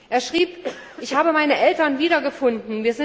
Er schrieb Ich habe meine Eltern wiedergefunden.